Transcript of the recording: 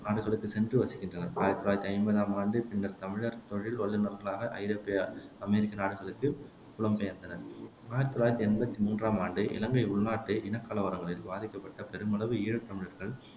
நாடுகளுக்குச் சென்று வசிக்கின்றனர் ஆயிரத்தி தொள்ளாயிரத்தி ஐம்பதாம் ஆண்டு பின்னர்த் தமிழர் தொழில் வல்லுநர்களாக ஐரோப்பிய அமெரிக்க நாடுகளுக்குப் புலம் பெயர்ந்தனர் ஆயிரத்தி தொள்ளாயிரத்தி எண்பத்தி மூன்றாம் ஆண்டு இலங்கை உள்நாட்டு இனக்கலவரங்களில் பாதிக்கப்பட்ட பெருமளவு ஈழத்தமிழர்கள்